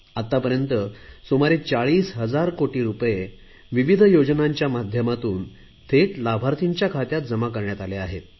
आतापर्यंत सुमारे 40 हजार कोटी रुपये विविध योजनांच्या माध्यमातून थेट लाभार्थींच्या खात्यात जमा करण्यात आले आहेत